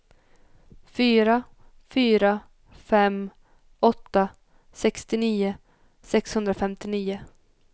fyra fyra fem åtta sextionio sexhundrafemtionio